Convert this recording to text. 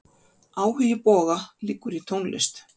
Áhugi Boga liggur í tónlist.